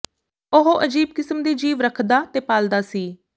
ਉਹ ਅਜੀਬ ਕਿਸਮ ਦੇ ਜੀਵ ਰੱਖਦਾ ਤੇ ਪਾਲਦਾ ਸੀ